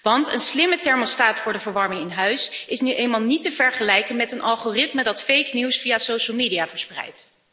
Want een slimme thermostaat voor de verwarming in huis is nu eenmaal niet te vergelijken met een algoritme dat nepnieuws via sociale media verspreidt.